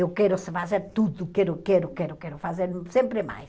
Eu quero fazer tudo, quero, quero, quero, quero fazer sempre mais.